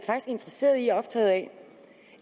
interesseret i og optaget af